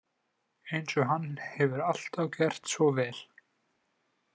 Eins og hann hefur alltaf gert svo vel.